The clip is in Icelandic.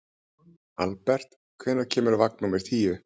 Albert, hvenær kemur vagn númer tíu?